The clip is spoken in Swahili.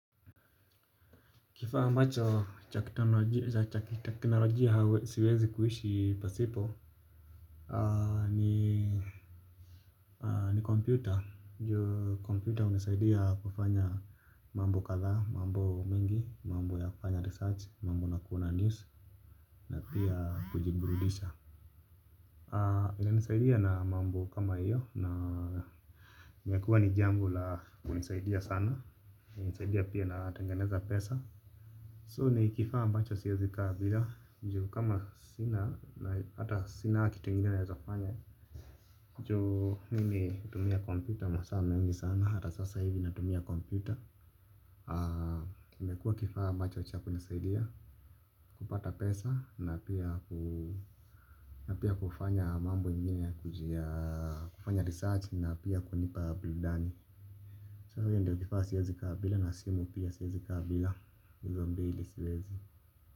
Kifaa ambacho cha kiteknolojia siwezi kuishi pasipo. Ni kompyuta, ju kompyuta hunisaidia kufanya mambo kadhaa, mambo mengi, mambo ya kufanya research, mambo na kuona news. Na pia kujiburudisha inanisaidia na mambo kama hiyo na imekuwa ni jambo la kunisaidia sana, hunisaidia pia natengeneza pesa So ni kifaa ambacho siwezi kaa bila ju kama sina na hata sina kitu yengine naweza kufanya ju mimi hutumia kompyuta masaa mengi sana hata sasa hivi natumia kompyuta imekuwa kifaa ambacho cha kunisaidia kupata pesa na pia kufanya mambo nje kujia kufanya research na pia kunipa burudani So hivyo ndio kifaa siwezi bila na simu pia siwezi kaa bila hizo mbili siwezi.